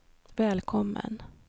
välkommen